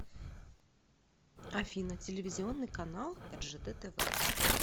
афина телевизионный канал ржд тв